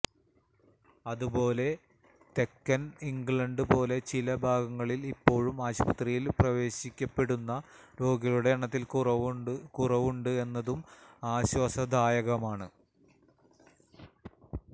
അതുപോലെ തെക്കൻ ഇംഗ്ലണ്ട് പോലെ ചില ഭാഗങ്ങളിൽ ഇപ്പോഴും ആശുപത്രിയിൽ പ്രവേശിപ്പിക്കപ്പെടുന്ന രോഗികളുടെ എണ്ണത്തിൽ കുറവുണ്ട് എന്നതും ആശ്വാസദായകമാണ്